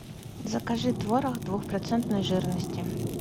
закажи творог двухпроцентной жирности